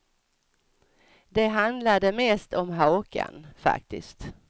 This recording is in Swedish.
Det handlade mest om hakan, faktiskt.